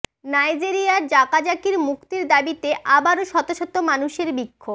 নাইজেরিয়ায় জাকজাকির মুক্তির দাবিতে আবারো শত শত মানুষের বিক্ষোভ